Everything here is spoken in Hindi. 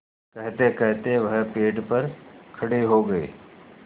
कहतेकहते वह पेड़ पर खड़े हो गए